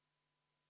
Head kolleegid!